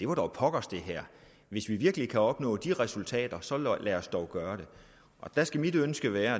var dog pokkers hvis vi virkelig kan opnå de resultater så lad os dog gøre det der skal mit ønske være